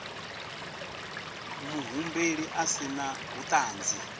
muhumbeli a si na vhuṱanzi